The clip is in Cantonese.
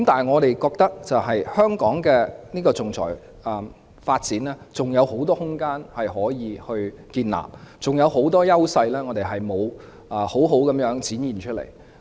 我認為香港還有很多可以發展仲裁服務的空間，我們還有很多優勢尚未展現出來。